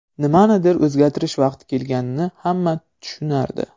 Nimanidir o‘zgartirish vaqti kelganini hamma tushunardi.